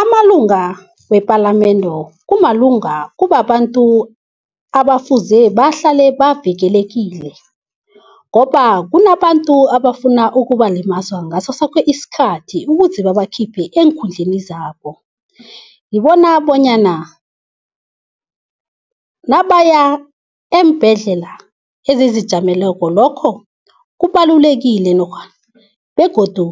Amalunga wepalamende kubabantu abafuze bahlale bavikelekile, ngoba kunabantu abafuna ukubalimaza ngasosoke isikhathi, ukuze babakhiphe eenkhundleni zabo. Ngibona bonyana nabaya eembhedlela ezizijameleko lokho kubalulekile begodu